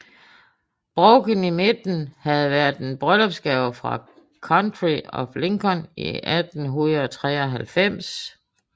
Brochen i midten havde været en bryllupsgave fra County of Lincoln i 1893